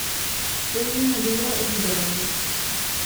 Pojdi v nedeljo ribe lovit!